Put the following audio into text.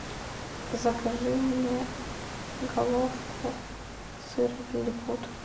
закажи мне головку сыра лилипут